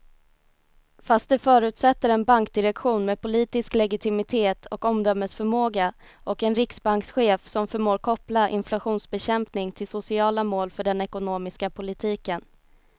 Fast det förutsätter en bankdirektion med politisk legitimitet och omdömesförmåga och en riksbankschef som förmår koppla inflationsbekämpning till sociala mål för den ekonomiska politiken.